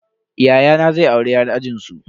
Yayana zai auri yar ajinsu.